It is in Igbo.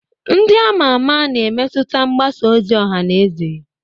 ndị a ma ama na-emetụta mgbasa ozi ọha na eze